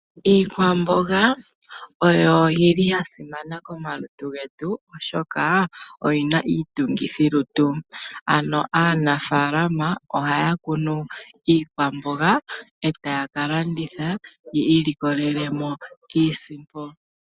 Iikwamboga oyo yili ya simana komalutu getu oshoka oyi na iitungithilutu ano aanafalama ohaya kunu iikwamboga e taya kalanditha ya monemo iisimpo.